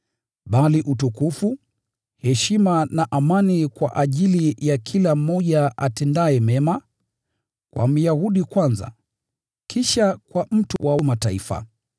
bali utukufu, heshima na amani kwa ajili ya kila mmoja atendaye mema, kwa Myahudi kwanza, kisha kwa mtu wa Mataifa.